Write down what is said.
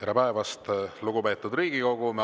Tere päevast, lugupeetud Riigikogu!